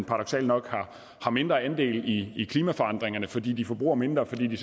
paradoksalt nok har mindre andel i i klimaforandringerne fordi de bruger forbruger mindre fordi de